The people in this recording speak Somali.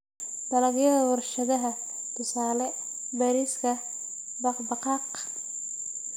Dalagyada warshadaha: tusaale, bariiska, baqbaqaaq.